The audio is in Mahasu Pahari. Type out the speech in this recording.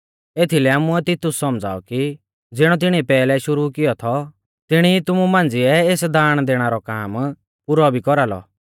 एथीलै आमुऐ तितुस सौमझ़ाऔ कि ज़िणौ तिणिऐ पैहलै शुरु कियौ थौ तिणौ ई तुमु मांझ़िऐ एस दाण दैणा रौ काम पुरौ भी कौरालौ